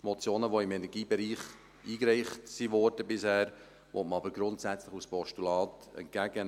Motionen, die bisher zum Energiebereich eingereicht wurden, will man aber grundsätzlich als Postulate entgegennehmen.